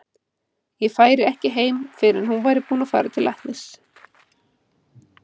Ég færi ekki heim fyrr en hún væri búin að fara til læknis.